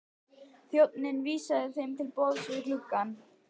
Þjónninn vísaði þeim til borðs við gluggann.